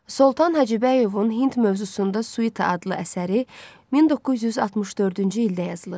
Soltan Hacıbəyovun Hind mövzusunda suita adlı əsəri 1964-cü ildə yazılıb.